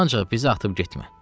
Ancaq bizi atıb getmə.